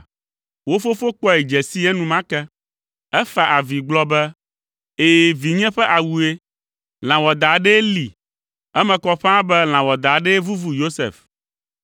Wo fofo kpɔe dze sii enumake. Efa avi gblɔ be, “Ɛ̃, vinye ƒe awue. Lã wɔadã aɖee lée; eme kɔ ƒãa be lã wɔadã aɖe vuvu Yosef.”